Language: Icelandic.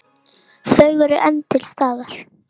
Þau eru enn til staðar.